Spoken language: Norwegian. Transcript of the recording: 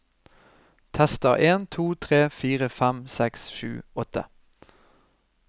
Tester en to tre fire fem seks sju åtte